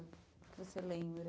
Você lembra?